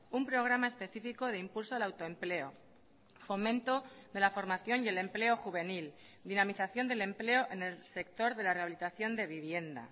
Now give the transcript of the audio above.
un programa específico de impulso al autoempleo fomento de la formación y el empleo juvenil dinamización del empleo en el sector de la rehabilitación de vivienda